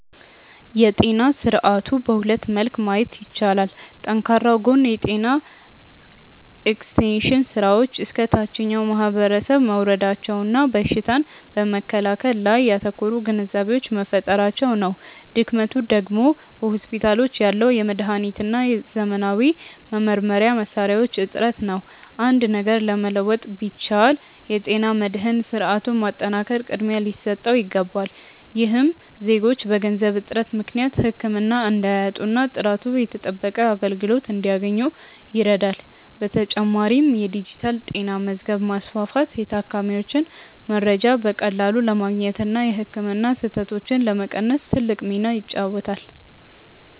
የጤና ስርዓቱን በሁለት መልክ ማየት ይቻላል። ጠንካራው ጎን የጤና ኤክስቴንሽን ስራዎች እስከ ታችኛው ማህበረሰብ መውረዳቸውና በሽታን በመከላከል ላይ ያተኮሩ ግንዛቤዎች መፈጠራቸው ነው። ድክመቱ ደግሞ በሆስፒታሎች ያለው የመድኃኒትና የዘመናዊ መመርመሪያ መሣሪያዎች እጥረት ነው። አንድ ነገር መለወጥ ቢቻል፣ የጤና መድህን ስርዓቱን ማጠናከር ቅድሚያ ሊሰጠው ይገባል። ይህም ዜጎች በገንዘብ እጥረት ምክንያት ህክምና እንዳያጡና ጥራቱ የተጠበቀ አገልግሎት እንዲያገኙ ይረዳል። በተጨማሪም የዲጂታል ጤና መዝገብ ማስፋፋት የታካሚዎችን መረጃ በቀላሉ ለማግኘትና የህክምና ስህተቶችን ለመቀነስ ትልቅ ሚና ይጫወታል።